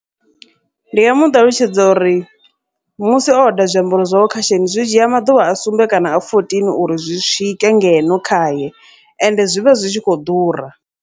Ndi nga muṱalutshedza uri musi oda zwiambaro zwawe shein, zwi dzhia maḓuvha a sumbe kana a fourteen uri zwi swike ngeno khaye, ende zwivha zwi tshi khou ḓura.